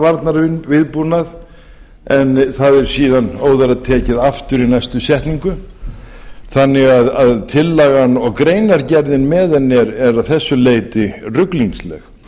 varnarviðbúnað en það er síðan óðara tekið aftur í næstu setningu þannig að tillagan og greinargerðin með henni eru að þessu leyti ruglingsleg